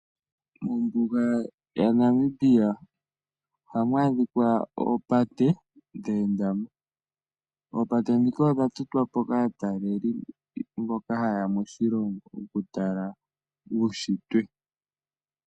Ombuga ya Namibia ohamu adhikwa oopate dheenda mo. Opate ndhika odha totwa po kaatalelipo mboka ha yeya moshilongo okutala uushitwe.